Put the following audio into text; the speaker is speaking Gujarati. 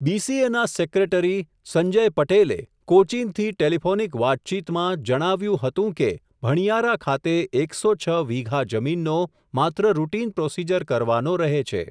બીસીએના સેક્રેટરી, સંજય પટેલે, કોચીનથી ટેલિફોનિક વાતચીતમાં, જણાવ્યું હતું કે ભણિયારા ખાતે, એકસો છ વીઘા જમીનનો, માત્ર રૂટિન પ્રોસિજર કરવાનો રહે છે.